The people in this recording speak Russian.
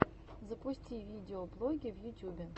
запусти видеоблоги в ютюбе